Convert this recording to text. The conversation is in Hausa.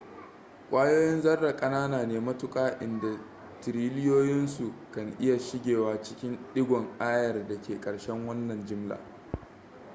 ƙwayoyin zarra ƙanana ne matuƙa inda tiriliyoyinsu kan iya shigewa cikin ɗigon ayar da ke karshen wannan jimla